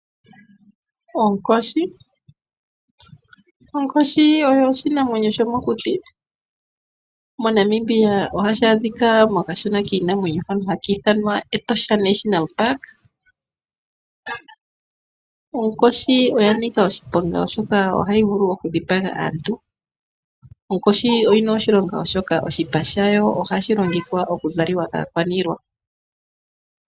Onkoshi oyo oshinamwenyo shomokuti. moNamibia ohashi adhika mokashana kiinamwenyo hono haka ithanwa Etosha National Park. Onkoshi oya nika oshiponga oshoka ohayi vulu okudhipaga. Onkoshi oyina oshilongo molwaashoka oshipa shayo ohashi zalwa kaakwaniilwa.